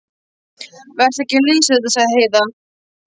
Vertu ekki að lesa þetta, sagði Heiða.